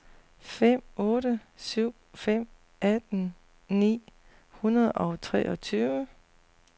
fem otte syv fem atten ni hundrede og treogtyve